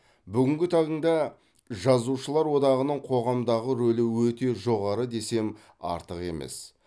бүгінгі таңда жазушылар одағының қоғамдағы рөлі өте жоғары десем артық емес